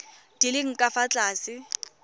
di leng ka fa tlase